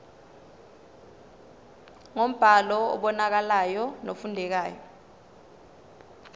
ngombhalo obonakalayo nofundekayo